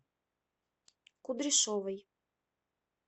кудряшовой